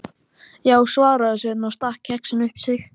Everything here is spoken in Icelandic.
Já, svaraði Sveinn og stakk kexinu upp í sig.